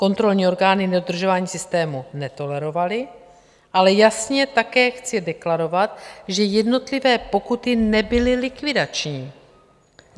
Kontrolní orgány nedodržování systému netolerovaly, ale jasně také chci deklarovat, že jednotlivé pokuty nebyly likvidační.